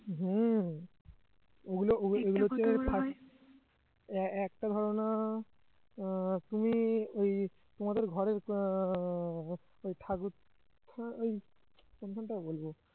হুঁ ওগুলো ওগুলো ওগুলো হচ্ছে first এ~ একটা ধরণা আহ তুমি ওই তোমাদের ঘরের আহ ওই ঠাকুর ওই কোনখানটায় বলবো